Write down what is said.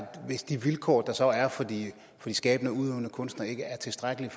hvis de vilkår der så er for de skabende og udøvende kunstnere ikke er tilstrækkelige